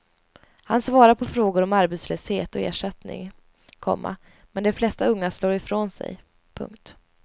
Han svarar på frågor om arbetslöshet och ersättning, komma men de flesta unga slår ifrån sig. punkt